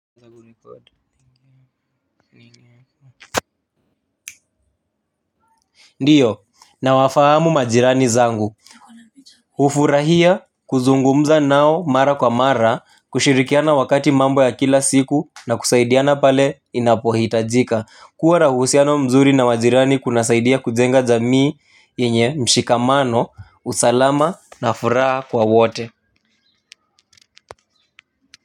Ndiyo na wafahamu majirani zangu. Hufurahia kuzungumza nao mara kwa mara kushirikiana wakati mambo ya kila siku na kusaidiana pale inapohitajika kuwa na uhusiano mzuri na majirani kuna saidia kujenga jamii yenye mshikamano usalama na furaha kwa wote. Kwa hivyo.